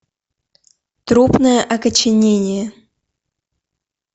трупное окоченение